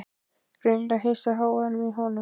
Greinilega hissa á hávaðanum í honum.